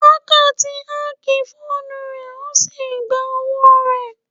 Hacker ti ákì fóònù rẹ ó sì gba owó rẹ.